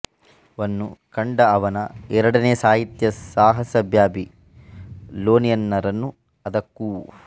ವನ್ನು ಕಂಡ ಅವನ ಎರಡನೆಯ ಸಾಹಿತ್ಯ ಸಾಹಸ ಬ್ಯಾಬಿಲೋನಿಯನ್ನರು ಅದಕ್ಕೂ